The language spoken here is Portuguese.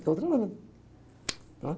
dá o treinamento, né?